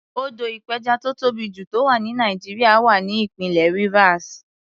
Odò ìpẹjà tó tóbì jù tó wà ní Nàìjíríà wà ní ìpínlẹ̀ Rivers.